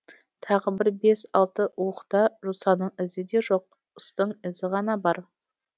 тағы бір бес алты уықта жосаның ізі де жоқ ыстың ізі ғана бар